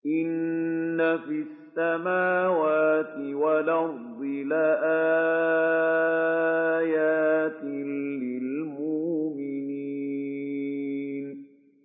إِنَّ فِي السَّمَاوَاتِ وَالْأَرْضِ لَآيَاتٍ لِّلْمُؤْمِنِينَ